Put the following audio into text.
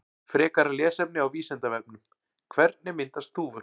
Frekara lesefni á Vísindavefnum: Hvernig myndast þúfur?